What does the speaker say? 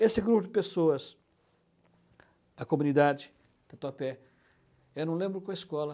Esse grupo de pessoas, a comunidade Tatuapé, eu não lembro qual escola.